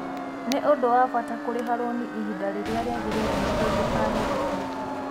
Nĩ ũndũ wa bata kũrĩha rũni ihinda rĩrĩa rĩagĩrĩire nĩguo ndũkaherithio.